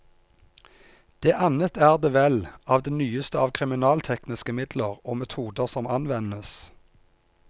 Det annet er det vell av det nyeste av kriminaltekniske midler og metoder som anvendes.